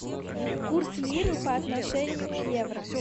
курс лиры по отношению к евро